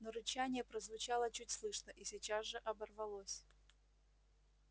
но рычание прозвучало чуть слышно и сейчас же оборвалось